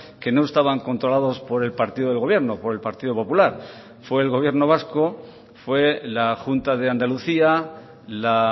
que no estaban controlados por el partido del gobierno por el partido popular fue el gobierno vasco fue la junta de andalucía la